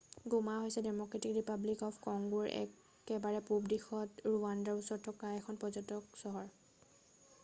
গোমা হৈছে democratic republic of কংগোৰ একেবাৰে পূৱ দিশত ৰুৱাণ্ডাৰ ওচৰত থকা এখন পৰ্যটন চহৰ